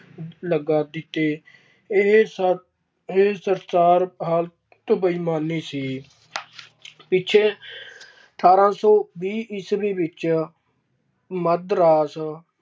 ਲਗਾ ਦਿੱਤੇ ਇਹ ਸ~ ਇਹ ਬੇਈਮਾਨੀ ਸੀ ਪਿੱਛੇ ਅਠਾਰਾਂ ਸੌ ਵੀਹ ਈਸਵੀ ਵਿੱਚ ਮੱਧ ਰਾਜ